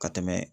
Ka tɛmɛ